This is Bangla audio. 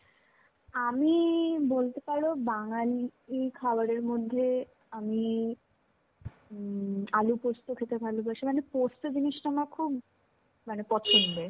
আমি, বলতে পারো বাঙালি খাবারের মধ্যে আমি উম আলু পোস্ত খেতে ভালোবাসি. মানে পোস্ত জিনিষটা আমার খুব মানে পছন্দের.